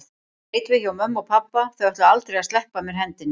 Ég leit við hjá mömmu og pabba, þau ætluðu aldrei að sleppa af mér hendinni.